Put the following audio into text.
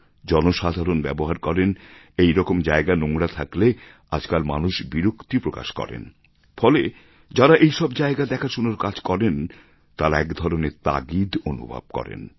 জনসাধারণ ব্যবহার করেন এই রকম জায়গা নোংরা থাকলে আজকাল মানুষ বিরক্তি প্রকাশ করেন ফলে যাঁরা এই সব জায়গা দেখাশোনার কাজ করেন তাঁরা একধরনের তাগিদ অনুভব করেন